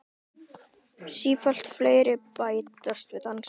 Sífellt fleiri bætast við í dansinn.